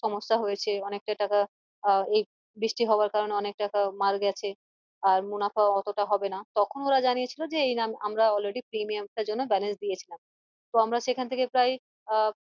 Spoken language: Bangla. সমস্যা হয়েছে অনেকটা টাকা আহ এই বৃষ্টি হওয়ার কারণে অনেক টাকা মার্ গেছে আর মুনাফা অতটা হবেনা তখন ওরা জানিয়েছিল যে আমরা already এই প্রিমিয়াম টার জন্য balance দিয়েছিলাম তো আমরা সেখান থেকে প্রায় আহ